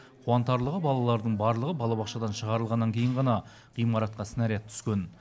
қуантарлығы балалардың барлығы балабақшадан шығарылғаннан кейін ғана ғимаратқа снаряд түскен